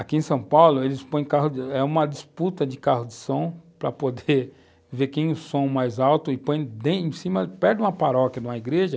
Aqui em São Paulo, eles põem carro, é uma disputa de carro de som para poder ver quem é o som mais alto e põe em cima, perto de uma paróquia, de uma igreja,